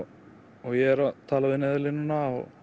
ég er svo að tala við Neyðarlínuna og